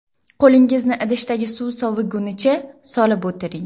Qo‘lingizni idishdagi suv soviguncha solib o‘tiring.